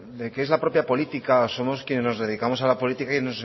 de que es la propia política o somos quienes nos dedicamos a la política